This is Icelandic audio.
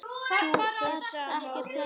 Þú ert ekkert hættur?